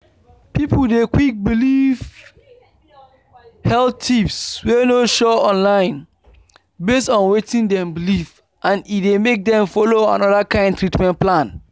people dey quick believe health tips wey no sure online based on wetin dem believe and e dey make dem follow another kind treatment plan.”